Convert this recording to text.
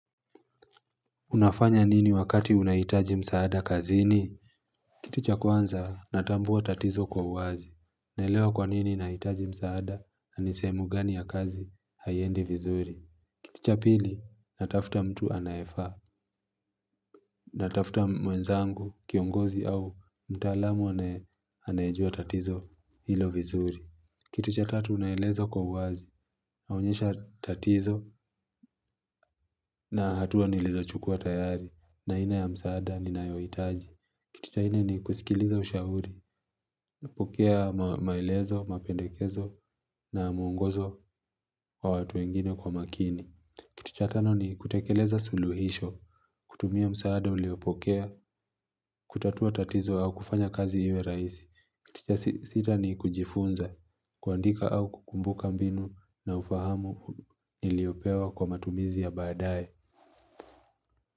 Unafanya nini wakati unaitaji msaada kazini? Kitu cha kwanza natambuwa tatizo kwa wazi. Naelewa kwa nini naitaji msaada na ni sehemu gani ya kazi haiendi vizuri. Kitu cha pili natafta mtu anayefaa. Natafta mwenzangu, kiongozi au mtaalamu anayejua tatizo hilo vizuri. Kitu cha tatu naeleza kwa uwazi naonyesha tatizo na hatua nilizochukua tayari na aina ya msaada ninayoitaji. Kitu cha nne ni kusikiliza ushahuri, napokea maelezo, mapendekezo na muongozo wa watu wengine kwa makini. Kitu cha tano ni kutekeleza suluhisho, kutumia msaada uliopokea, kutatua tatizo au kufanya kazi iwe raisi. Kitu cha sita ni kujifunza, kuandika au kukumbuka mbinu na ufahamu niliopewa kwa matumizi ya baadae.